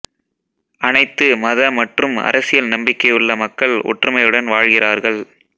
அனைத்து மத மற்றும் அரசியல் நம்பிக்கையுள்ள மக்கள் ஒற்றுமையுடன் வாழ்கிறார்கள்